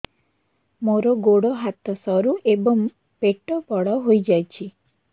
ମୋର ଗୋଡ ହାତ ସରୁ ଏବଂ ପେଟ ବଡ଼ ହୋଇଯାଇଛି